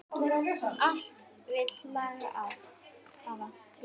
Allt vill lagið hafa.